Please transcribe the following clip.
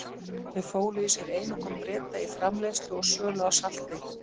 Þau fólu í sér einokun Breta í framleiðslu og sölu á salti.